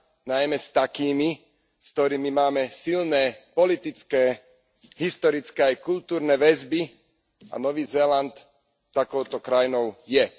najmä s takými, s ktorými máme silné politické, historické aj kultúrne väzby, a Nový Zéland takouto krajinou je.